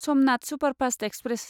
Somnath superfast express